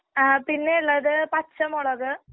ആ പിന്നെയുള്ളത് പച്ചമുളക്.